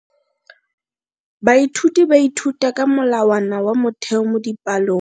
Baithuti ba ithuta ka molawana wa motheo mo dipalong.